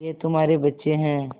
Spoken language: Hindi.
ये तुम्हारे बच्चे हैं